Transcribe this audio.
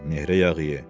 nehrə yağı ye.